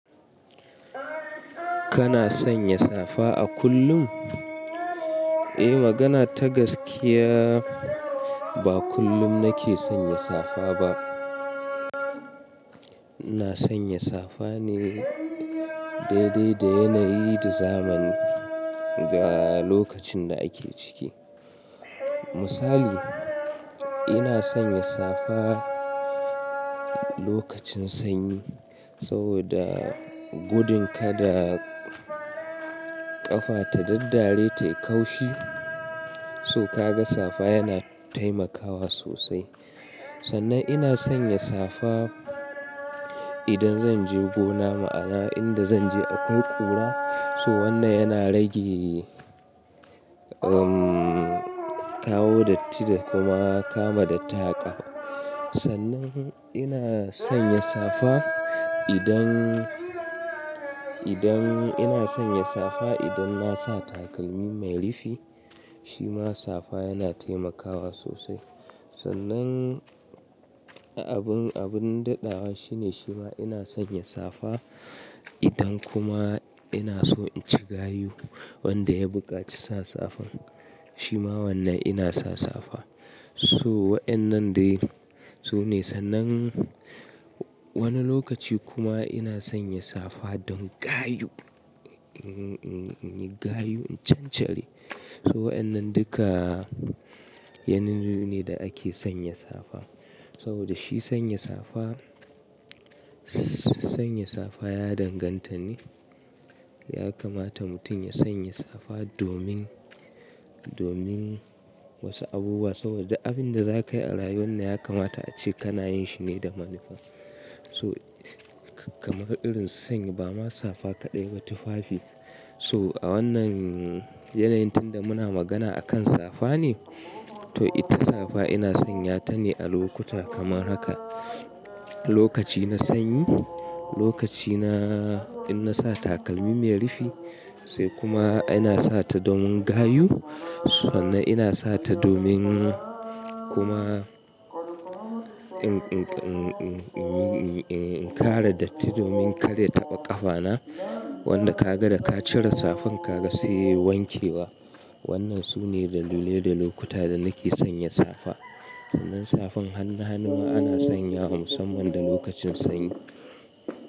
Kana sanya safa a kullum? Eh, magana ta gaskiya ba kullum nake sanya safa ba. Ina sanya safa ne daidai da yanayi da zamani ga lokacin da ake ciki. Misali, ina sanya safa lokacin sanyi saboda gudun kada ƙafa ta daddare ta yi ƙaushi, so ka ga safa yana taimakawa sosai. Sannan ina sanya safa idan zan je gona ma'ana inda zan je akwai kura, so wannan yana rage, um, kawo datti da kuma kama da taƙa. Sannan ina sanya safa idan, idan ina sanya safa idan na sa takalmi mai rifi, shi ma safa yana taimakawa sosai. Sannan abin, abin daɗawa shi ne shi ma ina sanya safa idan kuma ina so in ci gayo wanda ya buƙaci sa safan. Shi ma wannan ina sa safa. So waɗannan dai su ne. Sannan wani lokaci kuma ina sanya safa don gayo, in yi gayo, in cancanci. So waɗannan duka yanayi ne da ake sanya safa. Saboda shi sanya safa, sanya safa ya danganta ne, ya kamata mutum ya sanya safa domin, domin wasu abubuwa saboda abin da za ka yi a rayuwa na ya kamata a ce kana yin shi ne da manufa. So kamar irin sanyi ba ma safa ka ɗeba tufafi. So a wannan yanayi tun da muna magana a kan safa ne, to ita safa ina sanya ta ne a lokuta kamar haka. Lokaci na sanyi, lokaci na, in na sa takalmi mai rifi sai kuma ina sa ta domin gayo. Sannan ina sa ta domin kuma in, in, in, in, in, in, in, in, in ƙara datti domin kada ya taɓa ƙafa na wanda ka ga da ka cire safan ka ka siyi wankewa. Waɗannan su ne dalilai da lokuta da nake sanya safa. Sannan safan hannu hannuwa ana sanya wa musamman da lokacin sanyi.